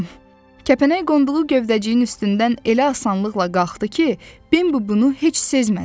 Kəpənək qonduğu gövdəciyin üstündən elə asanlıqla qalxdı ki, Bimbi bunu heç sezmədi.